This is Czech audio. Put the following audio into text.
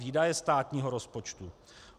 Výdaje státního rozpočtu.